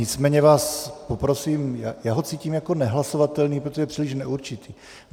Nicméně vás poprosím, já ho cítím jako nehlasovatelný, protože je příliš neurčitý.